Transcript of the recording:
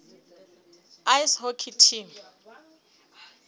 ice hockey team